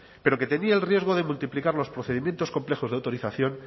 pero que tenía el riesgo de multiplicar los procedimientos complejos de autorización